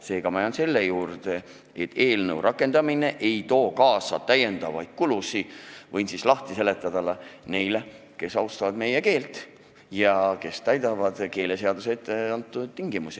Seega jään ma selle juurde, et eelnõu seadusena rakendamine ei too kaasa täiendavaid kulusid – võin lahti seletada – neile, kes austavad meie keelt ja täidavad keeleseaduses etteantud tingimusi.